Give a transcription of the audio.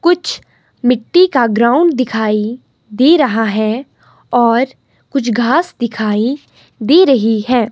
कुछ मिट्टी का ग्राउंड दिखाइ दे रहा है और कुछ घास दिखाई दे रही हैं।